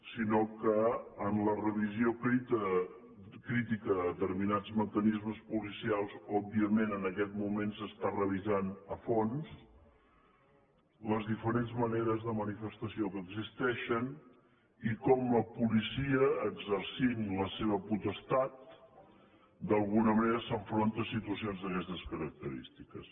sinó que en la revisió crítica de determinats mecanismes policials òbviament en aquest moment s’estan revisant a fons les diferents maneres de manifestació que existeixen i com la policia exercint la seva potestat d’alguna manera s’enfronta a situacions d’aquestes característiques